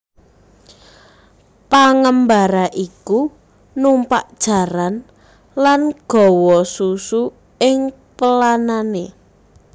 Pengembara iku numpak jaran lan gawa susu ing pelanane